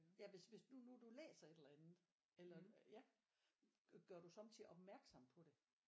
Ja hvis hvis du nu du læser et eller andet eller ja gør du sommetider opmærksom på det?